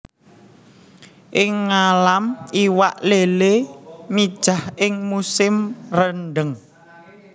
Ing ngalam iwak lélé mijah ing musim rendheng